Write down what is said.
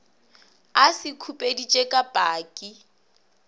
a se khupeditše ka paki